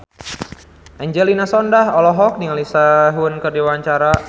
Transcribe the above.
Angelina Sondakh olohok ningali Sehun keur diwawancara